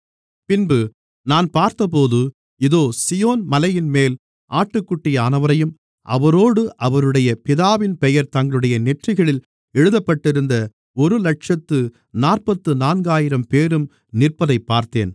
பின்பு நான் பார்த்தபோது இதோ சீயோன் மலையின்மேல் ஆட்டுக்குட்டியானவரையும் அவரோடு அவருடைய பிதாவின் பெயர் தங்களுடைய நெற்றிகளில் எழுதப்பட்டிருந்த ஒருஇலட்சத்து நாற்பத்து நான்காயிரம்பேரும் நிற்பதைப் பார்த்தேன்